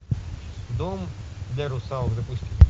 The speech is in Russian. дом для русалок запусти